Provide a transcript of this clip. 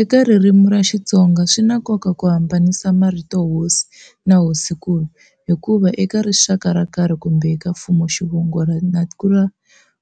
Eka ririmi ra Xitsonga swi na nkoka ku hambanisa marito Hosi na Hosinkulu, hi kuva eka rixaka ro karhi kumbe eka mfumuxivongo